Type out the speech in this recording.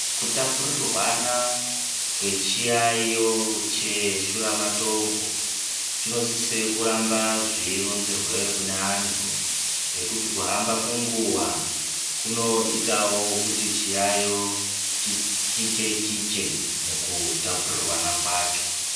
Kutapurirwana kwechiyaiyo cheshura matongo chinosisa kuramba zveironzera kuneamtu ngekuti kuhamba kwenguwa kunoitawo kuti chiyaiyo chichiche chiche mukutapurirwana kwacho